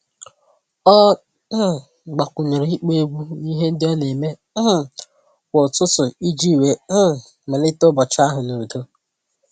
Ọ um gbakwunyere ịkpọ egwu n'ihe ndị ọ na-eme um kwa ụtụtụ iji wee um malite ụbọchị ahụ n'udo.